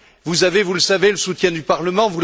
Vous avez, vous le savez, le soutien du Parlement